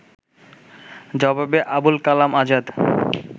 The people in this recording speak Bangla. জবাবে আবুল কালাম আজাদ